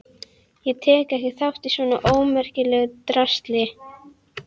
Ég tek ekki þátt í svona ómerkilegu drasli.